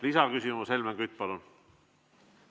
Lisaküsimus, Helmen Kütt, palun!